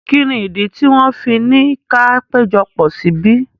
Kí ni ìdí tí wọ́n fi ni ka péjọpọ̀ síbí?